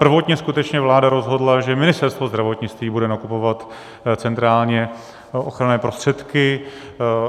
Prvotně skutečně vláda rozhodla, že Ministerstvo zdravotnictví bude nakupovat centrálně ochranné prostředky.